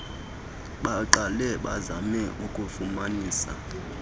baqale bazame ukufumanisa